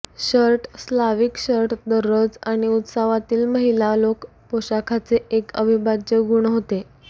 shirt Slavic shirt दररोज आणि उत्सवातील महिला लोक पोशाखाचे एक अविभाज्य गुण होते